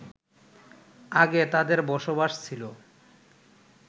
আগে তাদের বসবাস ছিলো